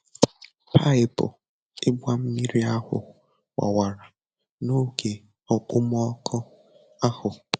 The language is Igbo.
Paịpụ ịgba mmiri ahụ gbawara n'oge okpomọkụ ahụ.